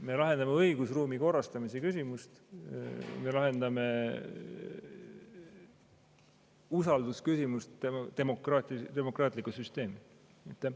Me lahendame õigusruumi korrastamise küsimust, me lahendame usaldusküsimust, demokraatliku süsteemi.